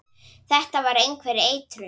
Þetta var einhver eitrun.